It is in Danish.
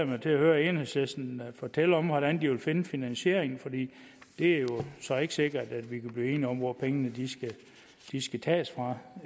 mig til at høre enhedslisten fortælle om hvordan de vil finde finansiering for det er jo så ikke sikkert at vi kan blive enige om hvor pengene skal tages fra